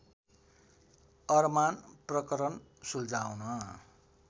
अरमान प्रकरण सुल्झाउन